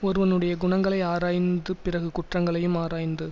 ஒருவனுடைய குணங்களை ஆராய்ந்து பிறகு குற்றங்களையும் ஆராய்ந்து